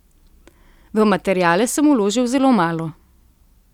V materiale sem vložil zelo malo.